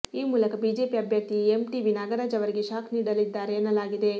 ಈ ಮೂಲಕ ಬಿಜೆಪಿ ಅಭ್ಯರ್ಥಿ ಎಂಟಿಬಿ ನಾಗರಾಜ್ ಅವರಿಗೆ ಶಾಕ್ ನೀಡಲಿದ್ದಾರೆ ಎನ್ನಲಾಗಿದೆ